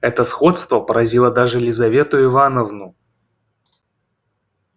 это сходство поразило даже лизавету ивановну